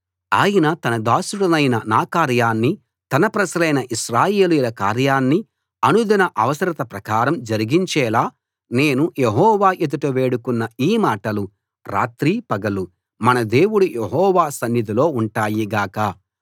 ఆయన తన దాసుడినైన నా కార్యాన్ని తన ప్రజలైన ఇశ్రాయేలీయుల కార్యాన్ని అనుదిన అవసరత ప్రకారం జరిగించేలా నేను యెహోవా ఎదుట వేడుకొన్న ఈ మాటలు రాత్రీ పగలూ మన దేవుడు యెహోవా సన్నిధిలో ఉంటాయి గాక